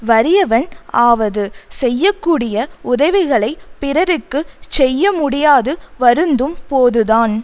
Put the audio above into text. வறியவன் ஆவது செய்ய கூடிய உதவிகளைப் பிறர்க்கு செய்யமுடியாது வருந்தும் போதுதான்